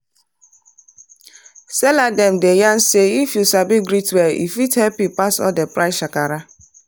seller dem dey yan say if you sabi greet well e fit help you pass all that price shakara.